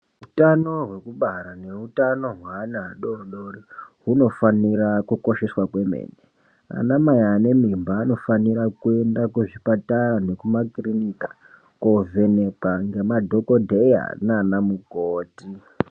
Utano hwokubara neutanho hwevana vadoodoori hwunofanira kukosheswa kwemene vanamai vane mimba vanofanirwa kuenda kuzvipatara nekumakirinika kunovhenekwa nemadhokodheya naana mukoti